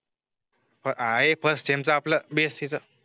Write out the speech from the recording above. ब आहे ते फर्स्ट टीम आपला बी यस सी च